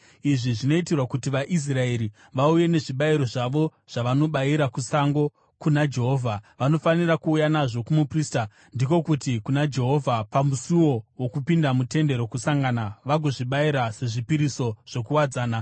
Izvi zvinoitirwa kuti vaIsraeri vauye nezvibayiro zvavo zvavanobayira kusango, kuna Jehovha. Vanofanira kuuya nazvo kumuprista, ndiko kuti, kuna Jehovha, pamusuo wokupinda muTende Rokusangana vagozvibayira sezvipiriso zvokuwadzana.